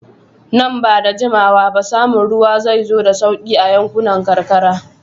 Nan ba da jimawa ba, samun ruwa zai zo da sauƙi a yankunan karkara.